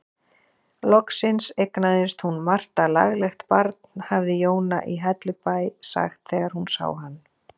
Loksins eignaðist hún Marta laglegt barn, hafði Jóna í Hellubæ sagt þegar hún sá hann.